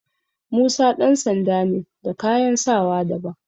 Musa ɗan sanda ne da kayan sawa daban.